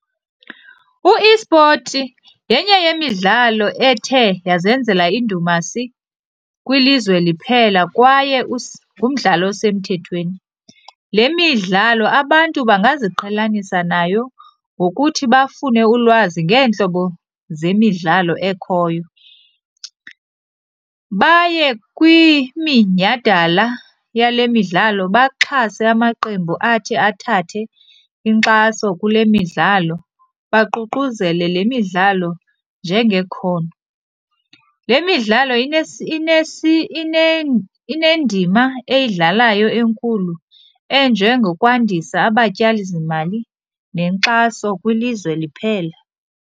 U-esport yenye yemidlalo ethe yazenzela indumasi kwilizwe liphela kwaye ngumdlalo osemthethethweni. Le midlalo abantu bangaziqhelanisa nayo ngokuthi bafune ulwazi ngeentlobo zemidlalo ekhoyo, baye kwiminyhadala yale midlalo baxhase amaqembu athi athathe inkxaso kule midlalo, baququzele le midlalo njengekhono. Le midlalo inendima eyidlalayo enkulu enjengokwandisa abatyali zimali nenkxaso kwilizwe liphela.